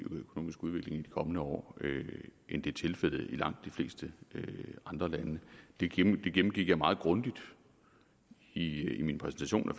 økonomisk udvikling i de kommende år end det er tilfældet i langt de fleste andre lande det gennemgik jeg meget grundigt i min præsentation af